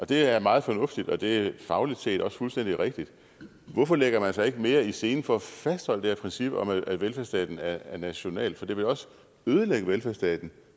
det er meget fornuftigt og det er fagligt set også fuldstændig rigtigt hvorfor lægger man sig ikke mere i selen for at fastholde det her princip om at velfærdsstaten er national for det vil også ødelægge velfærdsstaten